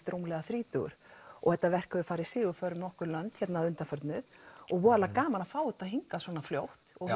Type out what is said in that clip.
rúmlega þrítugur og þetta verk hefur farið sigurför um nokkur lönd að undanförnu og voðalega gaman að fá þetta hingað svona fljótt og